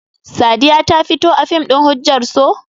Sadiya ta fito a fim ɗin "Hujjar So"?